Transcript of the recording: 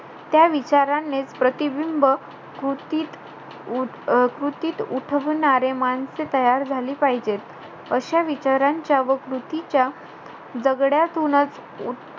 त्या विचारानेच प्रतिबिंब कृतीत उ~ अं कृतीत उठविणारे, माणसे तयार झाली पाहिजेत. अशा विचारांच्या व कृतीच्या जगड्यातूनच,